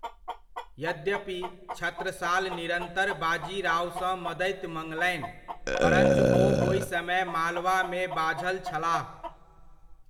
यद्यपि, छत्रसाल निरन्तर बाजीरावसँ मदति मङ्लनि, परञ्च ओ ओहि समय मालवामे बाझल छलाह।